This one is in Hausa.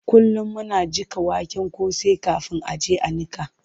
Kullum muna jiƙa waken kosai kafin a je a niƙa.